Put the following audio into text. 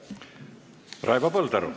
Raivo Põldaru.